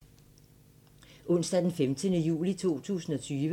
Onsdag d. 15. juli 2020